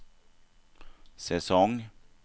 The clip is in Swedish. säsong